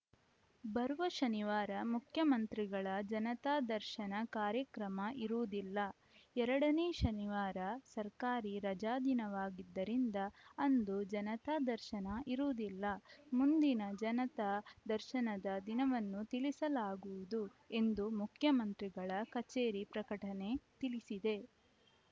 ಬರುವ ಶನಿವಾರ ಮುಖ್ಯಮಂತ್ರಿಗಳ ಜನತಾ ದರ್ಶನ ಕಾರ್ಯಕ್ರಮ ಇರುವುದಿಲ್ಲ ಎರಡನೇ ಶನಿವಾರ ಸರ್ಕಾರಿ ರಜಾದಿನವಾಗಿದ್ದರಿಂದ ಅಂದು ಜನತಾ ದರ್ಶನ ಇರುವುದಿಲ್ಲ ಮುಂದಿನ ಜನತಾ ದರ್ಶನದ ದಿನವನ್ನು ತಿಳಿಸಲಾಗುವುದು ಎಂದು ಮುಖ್ಯಮಂತ್ರಿಗಳ ಕಚೇರಿ ಪ್ರಕಟಣೆ ತಿಳಿಸಿದೆ